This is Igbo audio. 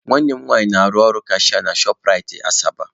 Nwanne m nwanyị na-arụ ọrụ kashịa na Shọp Rait Asaba.